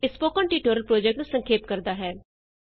ਇਹ spoken tutorial project ਨੂੰ ਸੰਖੇਪ ਕਰਦਾ ਹੈ